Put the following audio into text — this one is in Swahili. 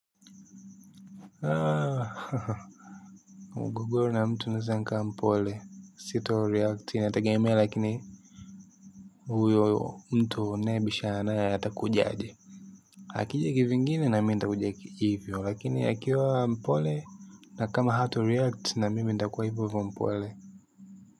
Haaa haaa mgogoro na mtu naeza nikawa mpole sitoreact inategemea lakini huyo mtu nayebishana naye atakujaje akija kivingine na mimi ntakuja kihivyo lakini akiwa mpole na kama hatoreacti na mimi ntakuwa hivyo hivyo mpole.